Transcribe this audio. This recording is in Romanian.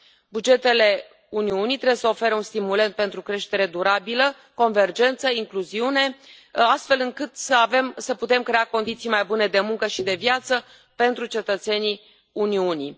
Bugetele Uniunii trebuie să ofere un stimulent pentru creștere durabilă, convergență, incluziune, astfel încât să putem crea condiții mai bune de muncă și de viață pentru cetățenii Uniunii.